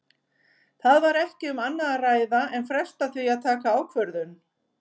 Það var ekki um annað að ræða en fresta því að taka ákvörðun.